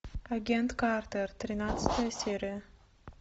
агент картер тринадцатая серия